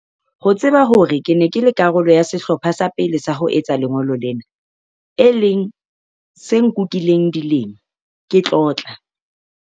Ho tseba hore ke ne ke le karolo ya sehlopha sa pele sa ho etsa lengolo lena, e leng se nkukileng dilemo, ke tlotla.